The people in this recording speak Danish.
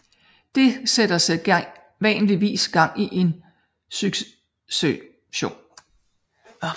Det sætter sædvanligvis gang i en succession